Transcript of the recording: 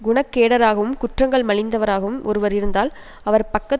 குணக்கேடராகவும் குற்றங்கள் மலிந்தவராகவும் ஒருவர் இருந்தால் அவர் பக்கத்